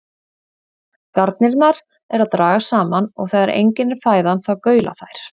Garnirnar eru að dragast saman og þegar engin er fæðan þá gaula þær.